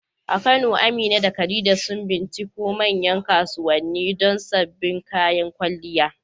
A Kano, Amina da Khadija sun binciko manyan kasuwanni don sabbin kayan kwalliya.